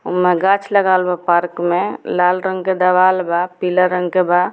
ऊ मे गाछ लगावल बा पार्क में लाल रंग के दवाल बा पीला रंग के बा।